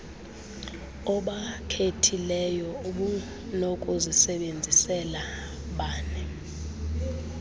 obakhethileyo ubunokuzisebenzisela bani